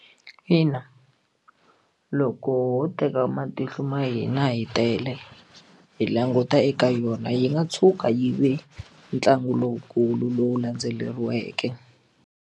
Ina, loko ho teka matihlo ma hina hi tele hi languta eka yona yi nga tshuka yi ve ntlangu lowukulu lowu landzeleriweke.